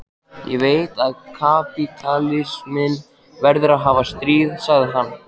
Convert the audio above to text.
Ég veit að kapítalisminn verður að hafa stríð, sagði hann.